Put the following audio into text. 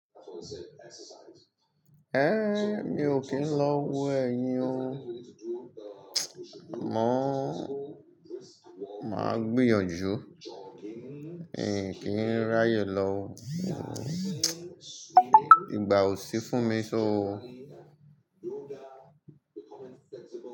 Mi ò kí ń lọ wo ẹ̀yin o. Mọ̀ máa gbìyànjú, n kìí ráyè lọ. Ìgbà ò sí fún mi so.